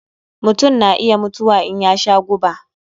Mutun na iya mutuwa in ya sha guba.